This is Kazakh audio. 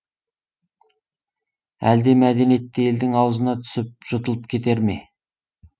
әлде мәдениетті елдің аузына түсіп жұтылып кетер ме